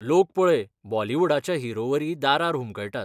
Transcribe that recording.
लोक पळय बॉलिवुडाच्या हिरोवरी दारार हुमकळटात.